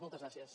moltes gràcies